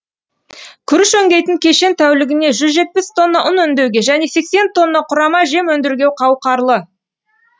күріш өңдейтін кешен тәулігіне жүз жетпіс тонна ұн өңдеуге және сексен тонна құрама жем өндіруге қауқарлы